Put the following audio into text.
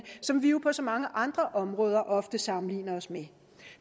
som vi jo på så mange andre områder ofte sammenligner os med